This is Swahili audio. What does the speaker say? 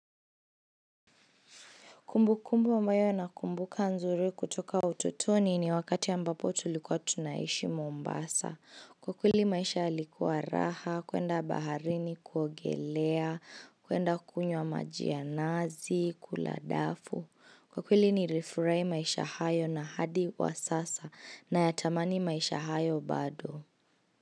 Kumbu kumbu ambayo nakumbuka nzuri kutoka utotoni ni wakati ambapo tulikuwa tunaishi Mombasa. Kwa kweli maisha yalikuwa raha, kuenda baharini kuogelea, kuenda kunywa maji ya nazi, kula dafu. Kwa kweli nilifray maisha hayo na hadi wa sasa nayatamani maisha hayo bado.